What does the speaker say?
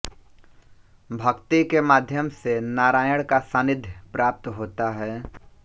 भक्ति के माध्यम से नारायण का सान्निध्य प्राप्त होता है